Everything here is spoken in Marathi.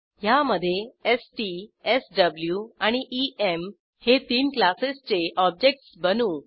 ह्यामधे एसटी एसडब्लू आणि ईएम हे तीन क्लासेसचे ऑब्जेक्टस बनवू